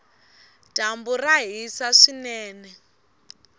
dyambu ra hisa swinene